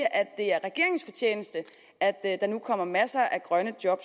at at der nu kommer masser af grønne job